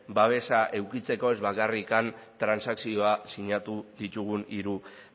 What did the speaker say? babesa edukitzeko ez bakarrik transakzioa sinatu ditugun hiru